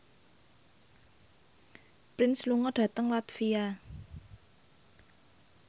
Prince lunga dhateng latvia